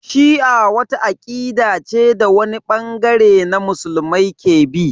Shi'a wata akida ce da wani bangare na musulmai ke bi.